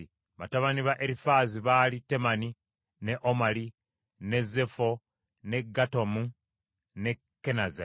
Batabani ba Erifaazi baali Temani, ne Omali, ne Zefo, ne Gatamu ne Kenazi.